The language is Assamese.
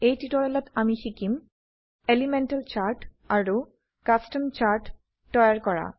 এই টিউটোৰিয়েলত আমি শিকিম এলিমেন্টাল চাৰ্ট আৰু কাস্টম চাৰ্ট তৈয়াৰ কৰা